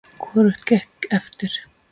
Hvorugt gekk eftir.